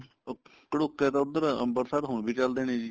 ਉਹ ਕੜੁਕੇ ਤਾਂ ਉੱਧਰ ਅੰਬਰਸਰ ਹੁਣ ਵੀ ਚੱਲਦੇ ਨੇ ਜੀ